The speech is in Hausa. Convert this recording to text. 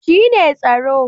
Shi ne tsaro